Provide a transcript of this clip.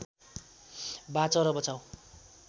बाँच र बचाऊ